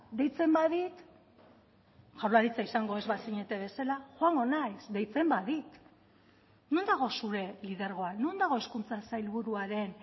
deitzen badit jaurlaritza izango ez bazinete bezala joango naiz deitzen badit non dago zure lidergoa non dago hezkuntza sailburuaren